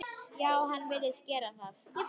Já, hann virðist gera það.